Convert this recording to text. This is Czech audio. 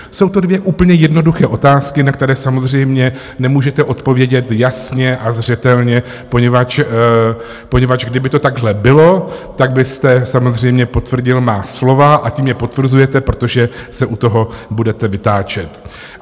Jsou to dvě úplně jednoduché otázky, na které samozřejmě nemůžete odpovědět jasně a zřetelně, poněvadž kdyby to takhle bylo, tak byste samozřejmě potvrdil má slova, a tím je potvrzujete, protože se u toho budete vytáčet.